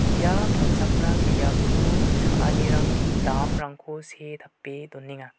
ia palchakram biapo cha·anirangni damrangko see tape donenga.